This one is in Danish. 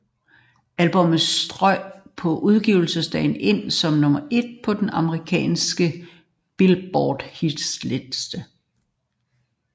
Albummet strøg på udgivelsesdagen ind som nummer et på den amerikanske Billboard hitliste